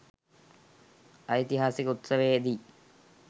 ඓතිහාසික උත්සවයේදී